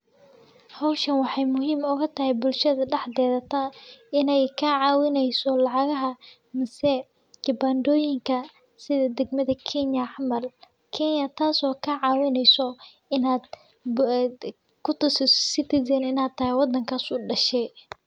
Hawshan waxay muhiim uga tahay bulshada dhaxdheerata, inay ka caawinayso lacagaha, maase khibaandoyinka sida degmada Kenya camal kenya taaso ka caawinayso inaad baad ku tusi Citizen inaad hayeen waddankaas u dhashay.